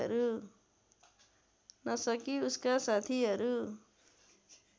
नसकी उसका साथीहरू